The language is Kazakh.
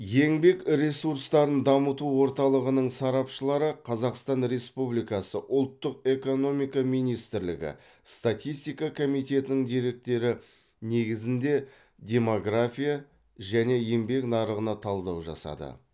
еңбек ресурстарын дамыту орталығының сарапшылары қазақстан республикасы ұлттық экономика министрлігі статистика комитетінің деректері негізінде демография мен еңбек нарығына талдау жасады